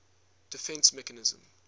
defence mechanism